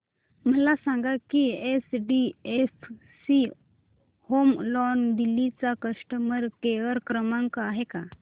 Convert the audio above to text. मला सांगा की एचडीएफसी होम लोन दिल्ली चा कस्टमर केयर क्रमांक आहे का